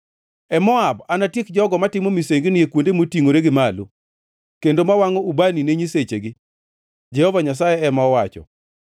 E Moab anatiek jogo matimo misengini e kuonde motingʼore gi malo, kendo ma wangʼo ubani ne nyisechegi,” Jehova Nyasaye ema owacho.